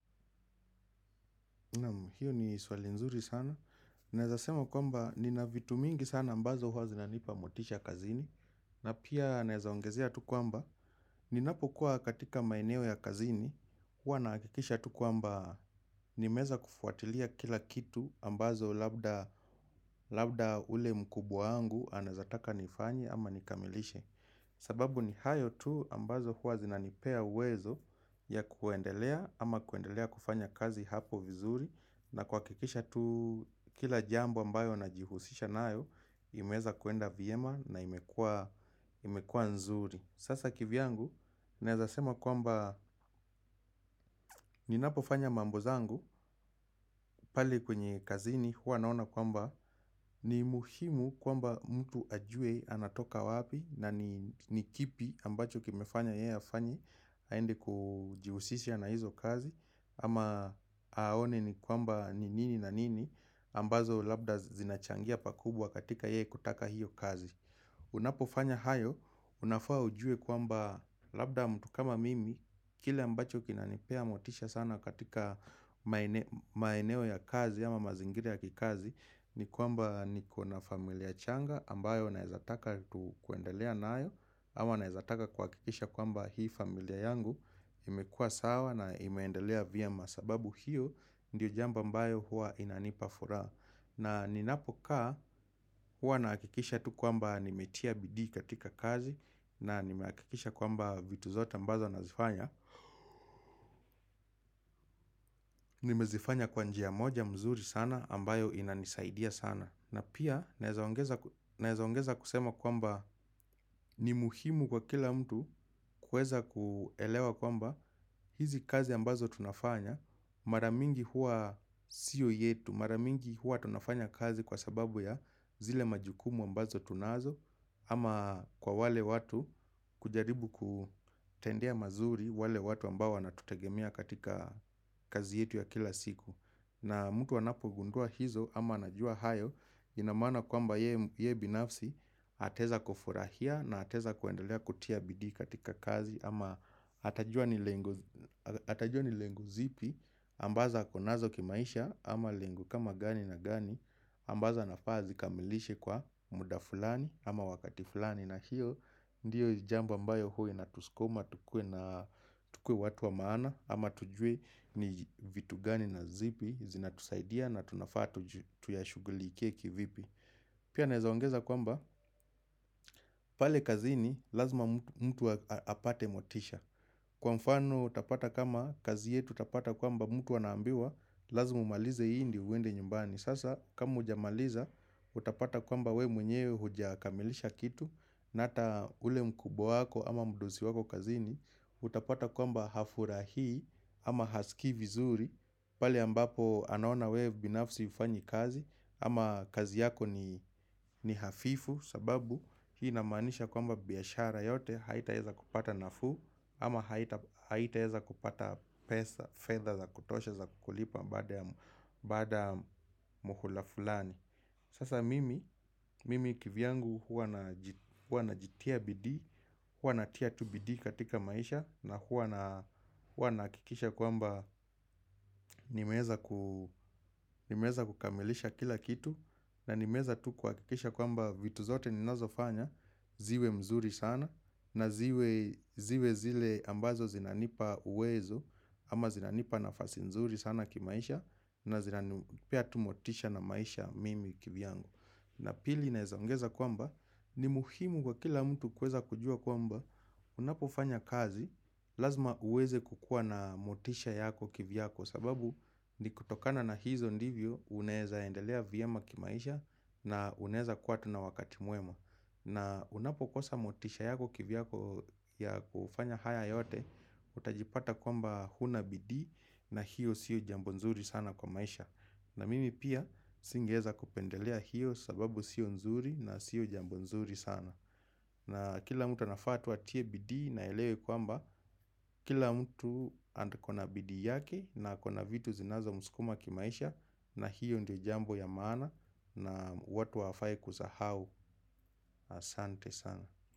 Hiyo ni swali nzuri sana. Naeza sema kwamba nina vitu mingi sana ambazo huwa zinanipa motisha kazini. Na pia naeza ongezea tu kwamba ninapokuwa katika maeneo ya kazini. Huwa nahakikisha tu kwamba nimeeza kufuatilia kila kitu ambazo labda ule mkubwa wangu anaeza taka nifanye ama nikamilishe. Sababu ni hayo tu ambazo huwa zinanipea uwezo ya kuendelea ama kuendelea kufanya kazi hapo vizuri na kuhakikisha tu kila jambuo ambayo najihusisha nayo imeeza kuenda vyema na imekua nzuri Sasa kivyangu, naeza sema kwamba ninapofanya mambo zangu pale kwenye kazini huwa naona kwamba ni muhimu kwamba mtu ajue anatoka wapi na ni kipi ambacho kimefanya ye hafanyi aende kujihusisia na hizo kazi ama aone ni kwamba ni nini na nini ambazo labda zinachangia pakubwa katika ye kutaka hiyo kazi Unapofanya hayo unafaa ujue kwamba labda mtu kama mimi kile ambacho kinanipea motisha sana katika maeneo ya kazi ama mazingira ya kikazi ni kwamba nikona familia changa ambayo naeza taka tu kuendelea nayo ama naezataka kuhakikisha kwamba hii familia yangu imekua sawa na imeendelea vyema sababu hiyo ndiyo jambo ambayo huwa inanipa furaha na ninapokaa huwa nahakikisha tu kwamba nimetia bidii katika kazi na nimehakikisha kwamba vitu zote ambazo nazifanya nimezifanya kwa njia moja mzuri sana ambayo inanisaidia sana na pia, naeza ongeza kusema kwamba ni muhimu kwa kila mtu kueza kuelewa kwamba hizi kazi ambazo tunafanya, mara mingi huwa siyo yetu, mara mingi huwa tunafanya kazi kwa sababu ya zile majukumu ambazo tunazo, ama kwa wale watu kujaribu kutendea mazuri wale watu ambao wanatutegemea katika kazi yetu ya kila siku. Na mtu anapogundua hizo ama anajua hayo ina maana kwamba yeye binafsi ataeza kufurahia na ataeza kuendelea kutia bidii katika kazi ama atajua ni lengo zipi ambazo ako nazo kimaisha ama lengo kama gani na gani ambazo anafaa azikamilishe kwa muda fulani ama wakati fulani na hiyo Ndiyo jambo ambayo huwa inatuskuma, tukue watu wa maana, ama tujue ni vitu gani na zipi, zinatusaidia na tunafaa tu tuyashughulikie kivipi. Pia naeza ongeza kwamba, pale kazini, lazima mtu apate motisha. Kwa mfano, utapata kama kazi yetu, utapata kwamba mtu anaambiwa, lazima umalize hii ndio uende nyumbani. Sasa kama hujamaliza utapata kwamba we mwenyewe hujakamilisha kitu na ata ule mkubwa wako ama mdosi wako kazini Utapata kwamba hafurahii ama hasikii vizuri pale ambapo anaona we binafsi hufanyi kazi ama kazi yako ni hafifu sababu hii inamaanisha kwamba biashara yote Haitaeza kupata nafuu ama haitaeza kupata pesa, fedha za kutosha za kukulipa Baada muhula fulani Sasa mimi kivyangu huwa najitia bidii Huwa natia tu bidii katika maisha na huwa nahakikisha kwamba nimeeza kukamilisha kila kitu na nimeeza tu kuhakikisha kwamba vitu zote ninazofanya ziwe mzuri sana na ziwe zile ambazo zinanipa uwezo ama zinanipa nafasi mzuri sana kimaisha na zinanipea tu motisha na maisha mimi kivyangu. Na pili naeza ongeza kwamba, ni muhimu kwa kila mtu kuweza kujua kwamba unapofanya kazi, lazima uweze kukua na motisha yako kivyako sababu ni kutokana na hizo ndivyo, unaeza endelea vyema kimaisha na unaeza kuwa tu na wakati mwema. Na unapokosa motisha yako kivyako ya kufanya haya yote Utajipata kwamba huna bidii na hiyo siyo jambo nzuri sana kwa maisha na mimi pia singeeza kupendelea hiyo sababu siyo nzuri na siyo jambo nzuri sana na kila mtu anafaa tu atie bidii na aelewe kwamba Kila mtu akona bidii yake na akona vitu zinazomskuma kimaisha na hiyo ndio jambo ya maana na watu hawafai kusahau Asante sana.